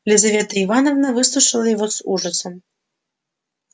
лизавета ивановна выслушала его с ужасом